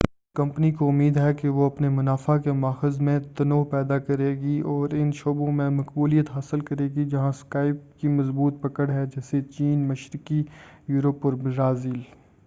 company کو امید ہے کہ وہ اپنے منافع کے ماخذ میں تنوع پیدا کرے گی اور ان شعبوں میں مقبولیت حاصل کرے گی جہاں سکائپ کی مضبوط پکڑ ہے جیسے چین مشرقی یوروپ اور برازیل